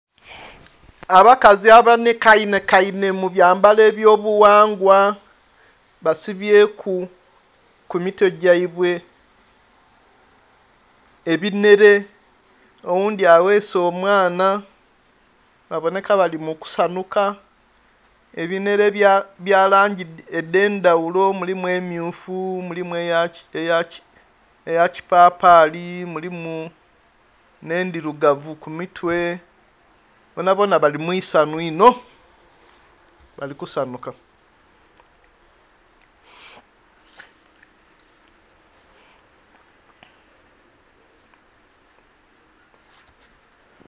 Abakazi abanheka nhekainhe mu abyambalo ebyo bughangwa basibyeku ku mitwe gyaibwe ebinhere, oghundhi abese omwana babonhe ka bali mukusanhuka. Ebinhere bya langi edhendhaghulo mulimu emyufu, mulimu eya kipapali ,mulimu nhe endhirugavu ku mitwe bonabona bali mwisanhu inho bali kusanhuka.